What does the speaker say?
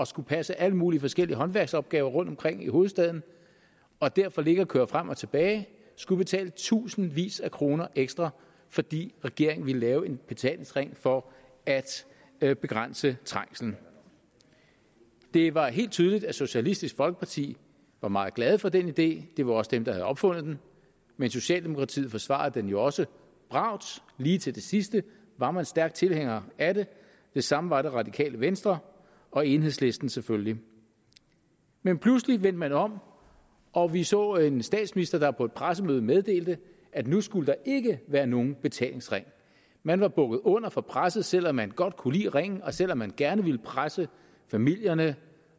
skulle passe alle mulige forskellige håndværksopgaver rundtomkring i hovedstaden og derfor ligge og køre frem og tilbage skulle betale tusindvis af kroner ekstra fordi regeringen ville lave en betalingsring for at at begrænse trængslen det var helt tydeligt at socialistisk folkeparti var meget glad for den idé det var også dem der har opfundet den men socialdemokratiet forsvarede den jo også bravt lige til det sidste var man stærk tilhænger af det det samme var det radikale venstre og enhedslisten selvfølgelig men pludselig vendte man om og vi så en statsminister der på et pressemøde meddelte at nu skulle der ikke være nogen betalingsring man var bukket under for presset selv om man godt kunne lide ringen og selv om man gerne ville presse familierne